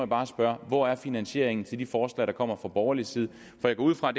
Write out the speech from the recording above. bare spørge hvor er finansieringen til de forslag der kommer fra borgerlig side for jeg går ud fra